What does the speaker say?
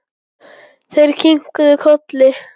Þeir kinkuðu kolli.